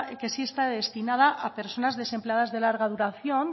que sí está destinada a personas desempleadas de larga duración